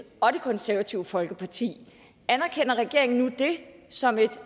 og det konservative folkeparti anerkender regeringen nu det som et